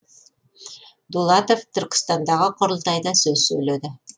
дулатов түркістандағы құрылтайда сөз сөйледі